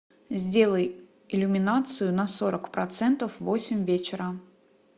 сделай иллюминацию на сорок процентов в восемь вечера